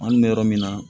An kɔni bɛ yɔrɔ min na